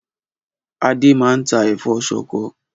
Adé maa n tà ẹ̀fọ́ soko